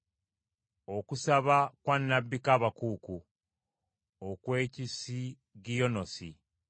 Okusaba kwa nnabbi Kaabakuuku, okw’Ekisigiyonosi.